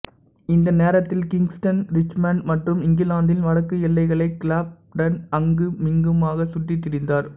இந்த நேரத்தில் Kingston Richmond மற்றும் இங்கிலாந்தின் வடக்கு எல்லைகளை கிளாப்டன் அங்குமிங்குமாகச் சுற்றித் திரிந்தார்